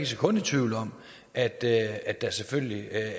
sekund i tvivl om at at der selvfølgelig er